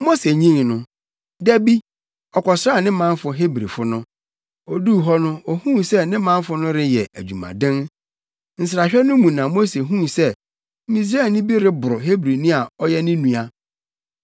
Mose nyin no, da bi, ɔkɔsraa ne manfo Hebrifo no. Oduu hɔ no, ohuu sɛ ne manfo no reyɛ adwumaden. Nsrahwɛ no mu na Mose huu sɛ Misraimni bi reboro Hebrini a ɔyɛ ne nua.